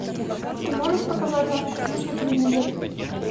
ты можешь показать авто плюс на телевизоре